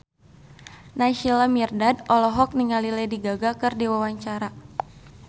Naysila Mirdad olohok ningali Lady Gaga keur diwawancara